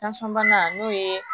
bana n'o ye